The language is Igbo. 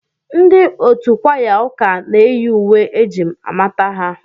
Ndị otu kwaya ụka na-eyi uwe eji amata ha.